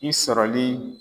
I sɔrɔli